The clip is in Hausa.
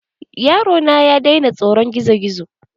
Yaro na ya daina tsoron gizo-gizo.